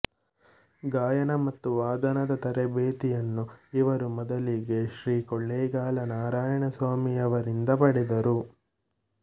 ಗಾಯನ ಮತ್ತು ವಾದನದ ತರಬೇತಿಯನ್ನು ಇವರು ಮೊದಲಿಗೆ ಶ್ರೀ ಕೊಳ್ಳೇಗಾಲ ನಾರಾಯಣಸ್ವಾಮಿಯವರಿಂದ ಪಡೆದರು